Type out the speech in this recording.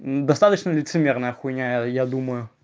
достаточно лицемерная хуйня я думаю